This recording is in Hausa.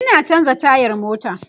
Ina chanza tayar mota